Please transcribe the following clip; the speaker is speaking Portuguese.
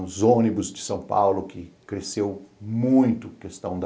Os ônibus de São Paulo que cresceu muito, questão da...